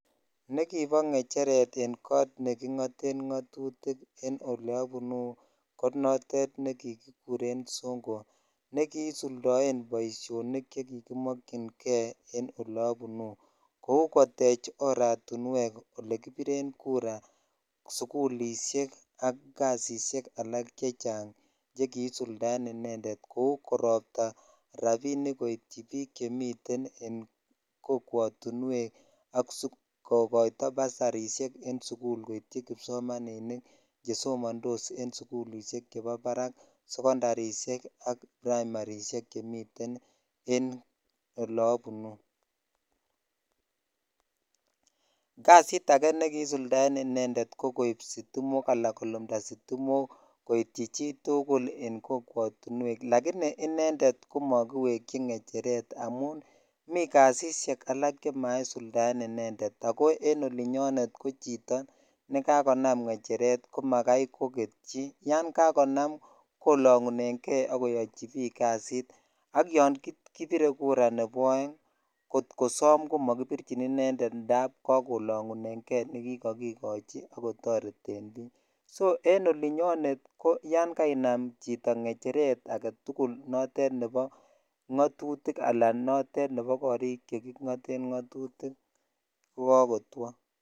Nekibo ng'echeret en koot neking'oten ng'otutik en oleobunu konotet nekikikuren songo nekisuldoen boishonik chekikimokying'e en olobunu kou kotech oratinwek elekibiren kura sikulishek ak kasisiek alak chekisuldaen inendet kouu koropta rabinik koityi biik chemiten kokwotinwek ak sikokoito basarishek en sukul koityi kipsomaninik chesomondos en sukulishek chebo barak, sekondarishek ak praimarishek chemiten en olobunu, kasit akee nekkisuldaen inendet ko koib sitimok koityi chitukul en kokwotinwek lakini inendet ko mokiwekyi ng'echeret amun mii kasisiek alak chemaisuldaen inendet ak ko en olinyonet ko chito nekakonam ng'echeret komakai koketyi, yoon kakonam kolang'uneng'e ak koyochibik kasit ak yoon kibire kura nebo oeng kot kosom komokibirchin inendet ndab kakolong'uneng'e nekikokikochi ak kotoreten biik, so en olinyonet ko yoon kainam chito ng'echeret aketukul notet nebo ng'otutik alaan notet nebo korik cheking'oten ng'otutik ko kokotwo.